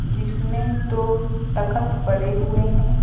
जिसमें दो तखत पड़े हुए हैं।